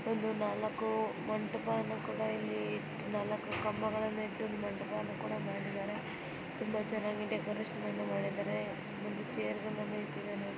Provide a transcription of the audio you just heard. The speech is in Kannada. ಇಲ್ಲಿ ನಾಲ್ಕು ಮಂಟಪವನ್ನು ಕೂಡ ಇಲ್ಲಿ ನಾಲ್ಕು ಕಂಬಗಳನ್ನು ಇಟ್ಟಿ ಮಂಟಪವನ್ನು ಕೂಡ ಮಾಡಿದಾರೆ ತುಂಬಾ ಚೆನ್ನಾಗಿ ಡೆಕೊರೇಷನ್ ಅನ್ನು ಮಾಡಿದಾರೆ. ಒಂದು ಚೇರ್ಗಳನ್ನು ಇಟ್ಟಿದಾರೆ --